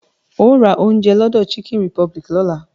Óò ra oúnjẹ lọ́dọ̀ chicken republic lọ́la!